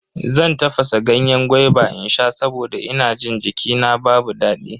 Zan tafasa ganyen gwaiba in sha saboda ina jin jikina babu daɗi.